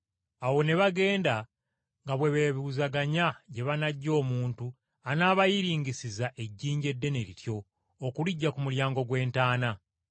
Awo ne bagenda nga bwe beebuuzaganya gye banaggya omuntu anaabayiringisiza ejjinja eddene lityo okuliggya ku mulyango gw’entaana.